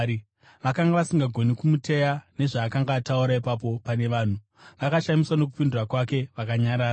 Vakanga vasingagoni kumuteya nezvaakanga ataura ipapo pane vanhu. Vakashamiswa nokupindura kwake, vakanyarara.